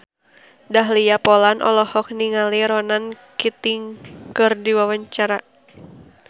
Dahlia Poland olohok ningali Ronan Keating keur diwawancara